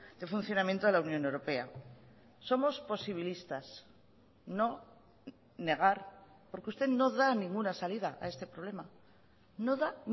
de funcionamiento de la unión europea somos posibilistas no negar porque usted no da ninguna salida a este problema no da